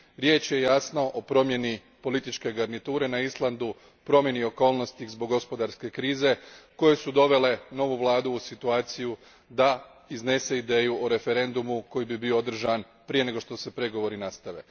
Riječ je, jasno, o promjeni političke garniture na Islandu, promjeni okolnosti zbog gospodarske krize, koje su dovele novu vladu u situaciju da iznese ideju o referendumu koji bi bio održan prije nego što se pregovori nastave.